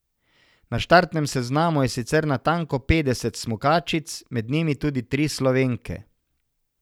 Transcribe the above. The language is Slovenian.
Na štartnem seznamu je sicer natanko petdeset smukačic, med njimi tudi tri Slovenke.